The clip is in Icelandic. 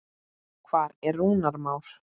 Hvar er Rúnar Már?